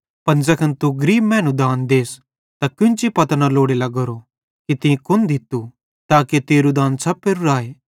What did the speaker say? पन ज़ैखन तू गरीब मैनू दान देस त केन्ची पतो न लोड़े लग्गोरो कि तीं कुन दित्तू